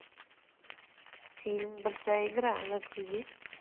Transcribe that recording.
фильм большая игра загрузи